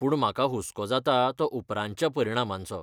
पूण म्हाका हुस्को जाता तो उपरांतच्या परिणामांचो.